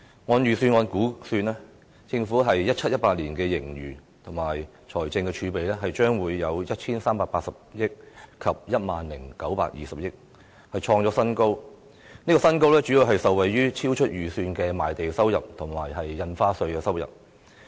按預算案估算 ，2017-2018 年度政府的盈餘和財政儲備將分別達 1,380 億元及 10,920 億元，創出新高，主要是受惠於超出預算的賣地收入和印花稅收入。